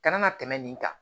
Kana na tɛmɛ nin kan